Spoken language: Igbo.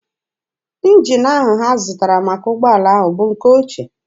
Njin ahụ ha zụtara maka ụgbọala ahụ bụ nke ochie.